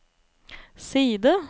side